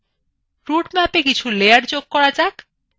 রুটম্যাপএ কিছু লেয়ার যোগ করা যাক